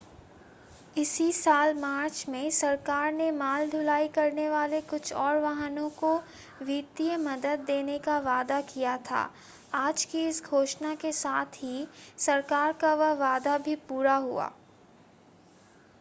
इसी साल मार्च में सरकार ने माल ढुलाई करने वाले कुछ और वाहनों को वित्तीय मदद देने का वादा किया था आज की इस घोषणा के साथ ही सरकार का वह वादा भी पूरा हुआ